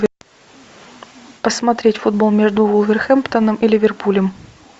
посмотреть футбол между вулверхэмптоном и ливерпулем